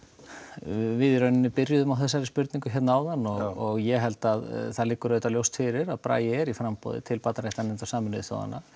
við í rauninni byrjuðum á þessari spurningu áðan og ég held að það liggi ljóst fyrir að Bragi er í framboði til barnaréttarnefndar Sameinuðu þjóðanna